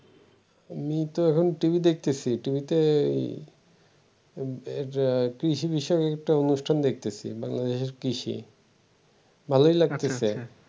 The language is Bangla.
আমি তো এখন টিভি দেখতেছি । টিভিতে এই এই যে কৃষি বিষয়ক একটা অনুষ্ঠান দেখতেছি বাংলাদেশের কৃষি ভালোই লাগতেছে